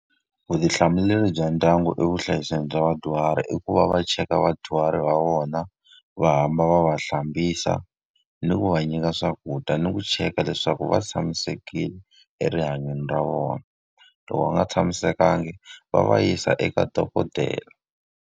Vutihlamuleri bya ndyangu e vuhlayiseki bya vadyuhari i ku va va cheka vadyuhari va vona, va hamba va va hlambisa, ni ku va nyika swakudya, ni ku cheka leswaku va tshamisekile erihanyweni ra vona. Loko va nga tshamisekanga va va yisa eka dokodela.